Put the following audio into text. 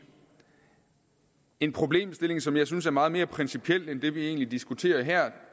en problemstilling som jeg synes er meget mere principiel end det vi egentlig diskuterer her